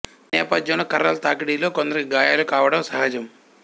ఈ నేపథ్యంలో కర్రల తాకిడిలో కొందరికి గాయాలు కావటం సహజం